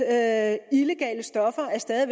at illegale stoffer stadig